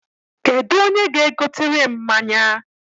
Kedụ onye ga-egotere m mmanya?